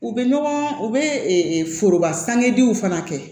U bɛ ɲɔgɔn u bɛ foroba sangediw fana kɛ